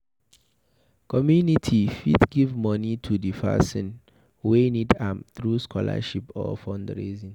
Community fit give money to di person wey need am through scholarship or fundraising